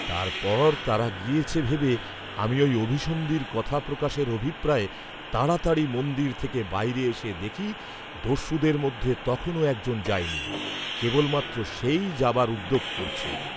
তারপর, তারা গিয়েছে ভেবে আমি ঐ অভিসন্ধির কথা প্রকাশের অভিপ্রায়ে তাড়াতাড়ি মন্দির থেকে বাইরে এসে দেখি, দস্যুদের মধ্যে তখনো একজন যায়নি, কেবলমাত্র সেই যাবার উদ্যোগ করছে।